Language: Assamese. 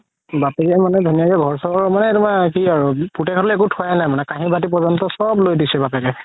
বাপেকে মানে ধুনীয়াকে ঘৰ চৰ মানে তুমাৰ কি আৰু পুতেক লৈ অকো থুৱায়ে নাই মানে কাহি বাতি প্ৰযান্ত চ'ব লয় দিছে বাপেকে